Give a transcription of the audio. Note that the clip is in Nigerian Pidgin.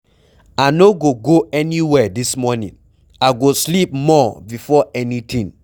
I no go go anywhere dis morning. I go sleep more before anything.